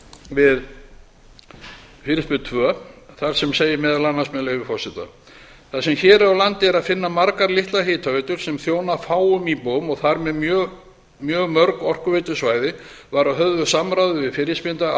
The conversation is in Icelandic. við fyrirspurn tvö þar sem segir meðal annars með leyfi forseta þar sem hér á landi er að finna margar litlar hitaveitur sem þjóna fáum íbúum og þar með mjög mörg orkuveitusvæði var að höfðu samráði við fyrirspyrjanda